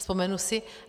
Vzpomenu si.